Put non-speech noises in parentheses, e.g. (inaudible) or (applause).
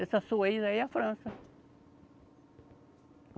Essa sua (unintelligible) aí é a França.